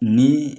Ni